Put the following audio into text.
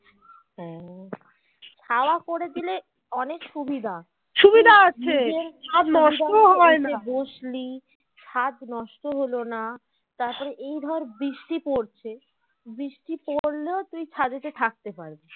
তারপর এই ধর বৃষ্টি পড়ছে বৃষ্টি পড়লেও তুই ছাদ এ থাকতে পারবি